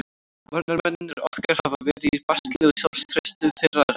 Varnarmennirnir okkar hafa verið í basli og sjálfstraustið þeirra er ekki hátt.